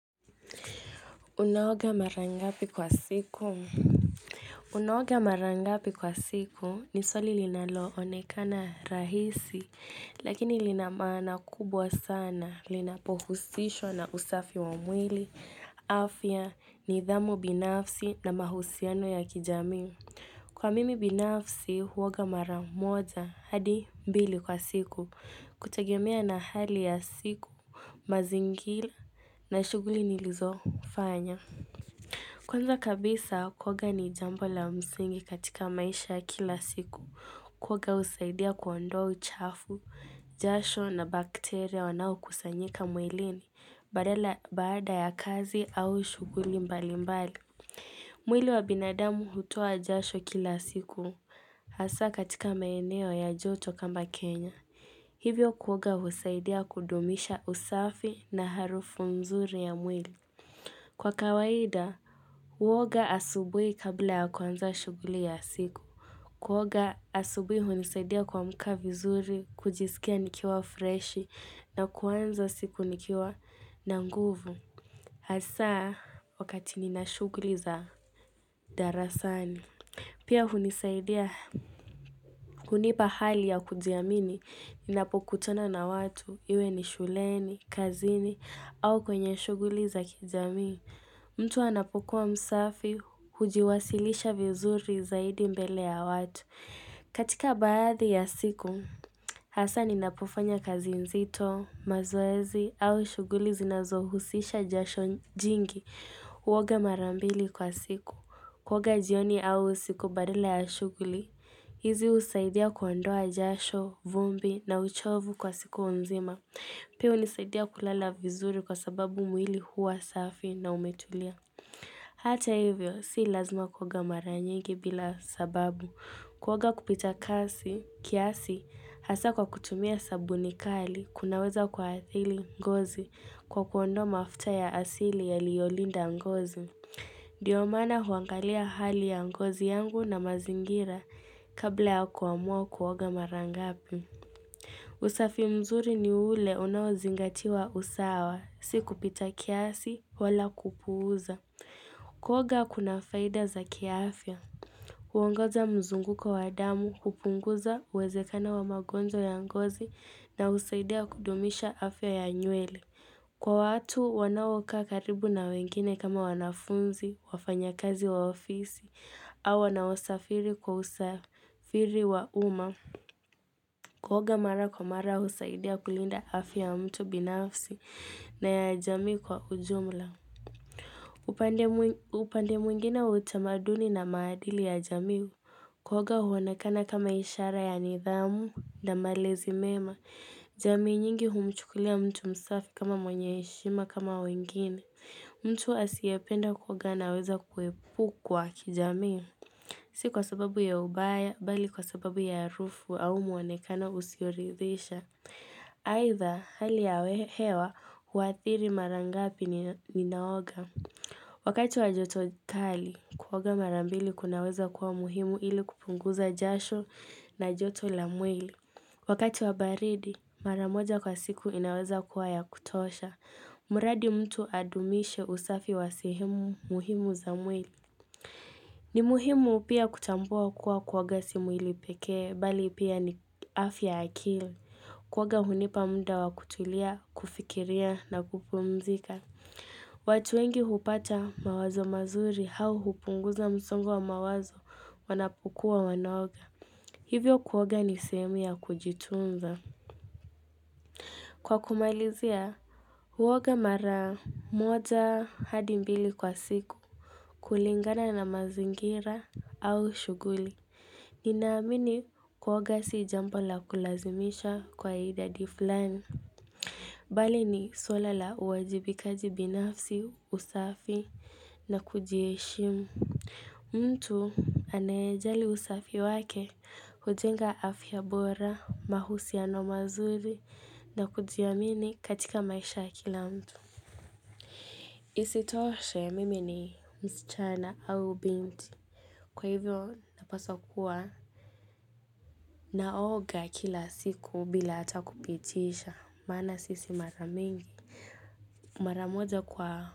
Unaoga marangapi kwa siku Unaoga marangapi kwa siku ni swali linaloonekana rahisi Lakini linamaana kubwa sana linapohusishwa na usafi wamwili afya nidhamu binafsi na mahusiano ya kijamii Kwa mimi binafsi huoga mara moja hadi mbili kwa siku kutegemea na hali ya siku mazingira na shuguli nilizofanya Kwanza kabisa, kuoga ni jambo la msingi katika maisha ya kila siku. Koga husaidia kuondoa uchafu, jasho na bakteria wanao kusanyika mwilini, badala baada ya kazi au shuguli mbali mbali. Mwili wa binadamu hutua jasho kila siku, hasa katika maeneo ya joto kama Kenya. Hivyo kuoga husaidia kudumisha usafi na harufu mzuri ya mwili. Kwa kawaida, huoga asubui kabla ya kuanza shuguli ya siku. Kuoga asubui hunisaidia kuamka vizuri, kujisikia nikiwa freshi, na kuanza siku nikiwa na nguvu. Haswa, wakati nina shuguli za darasani. Pia hunisaidia, kunipa hali ya kujiamini, ninapokutana na watu, iwe ni shuleni, kazini, au kwenye shuguli za kijamii. Mtu anapokuwa msafi, hujiwasilisha vizuri zaidi mbele ya watu. Katika baadhi ya siku, hasa ninapofanya kazi nzito, mazoezi au shuguli zinazohusisha jasho jingi huoga marambili kwa siku. Kuoga jioni au siku badala ya shuguli, hizi husaidia kuondoa jasho, vumbi na uchovu kwa siku nzima. Pia hunisaidia kulala vizuri kwa sababu mwili huwa safi na umetulia. Hata hivyo, si lazima kuoga maranyigi bila sababu. Kuoga kupita kasi, kiasi, hasa kwa kutumia sabuni kali, kunaweza kwaathiri ngozi kwa kuondoa mafuta ya asili ya liyolinda ngozi. Ndiiyo mana huangalia hali ya ngozi yangu na mazingira kabla ya kuamua kuoga marangapi. Usafi mzuri ni ule unao zingatiwa usawa. Siku pita kiasi wala kupuuza. Kuoga kuna faida za kiafya. Huongoza mzunguko wa damu, hupunguza, uwezekano wa magonjwa ya ngozi na husaidia kudumisha afya ya nywele. Kwa watu, wanaokaa karibu na wengine kama wanafunzi, wafanyi kazi wa ofisi, au wanaosafiri kwa usafiri wa uma. Kuoga mara kwa mara husaidia kulinda afya ya mtu binafsi na ya jamii kwa ujumla upande mwingine utamaduni na maadili ya jamii Kuoga huonekana kama ishara ya nidhamu na malezi mema jamii nyingi humchukulia mtu msafi kama mwenye heshima kama wengine mtu asiependa kuoga anaweza kuepukwa kijamii Si kwa sababu ya ubaya, bali kwa sababu ya harufu au muonekano usioridhisha. Aitha hali ya hewa, huathiri marangapi ninaoga. Wakati wa joto kali, kuoga marambili kunaweza kuwa muhimu ili kupunguza jasho na joto la mwili. Wakati wa baridi, maramoja kwa siku inaweza kuwa ya kutosha. Muradi mtu adumishe usafi wa sehemu muhimu za mwili. Ni muhimu pia kutambua kuwa kuoga si mwili pekee bali pia ni afya ya akili kuo ga hunipa muda wakutulia, kufikiria na kupumzika watu wengi hupata mawazo mazuri hau hupunguza msungo wa mawazo wanapukua wanaoga Hivyo kuoga ni sehemu ya kujitunza Kwa kumalizia, kuoga mara moja hadi mbili kwa siku kulingana na mazingira au shuguli Ninaamini kuoga si jamba la kulazimisha kwa idadi fulani. Bali ni swala la uajibikaji binafsi usafi na kujieshimu. Mtu anaejali usafi wake hujenga afya bora, mahusiano mazuri na kujiamini katika maisha ya kila mtu. Isitoshe mimi ni msichana au binti. Kwa hivyo napasa kuwa naoga kila siku bila hata kupitisha maana sisi mara mingi Mara moja kwa.